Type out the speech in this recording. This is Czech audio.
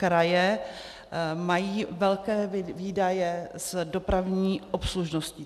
Kraje mají velké výdaje s dopravní obslužností.